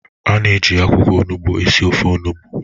A na-eji akwụkwọ onugbu esi ofe onugbu.